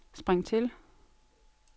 spring til